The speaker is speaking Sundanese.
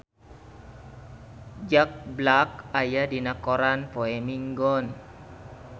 Jack Black aya dina koran poe Minggon